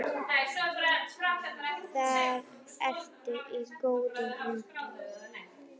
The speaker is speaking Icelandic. Þar ertu í góðum höndum.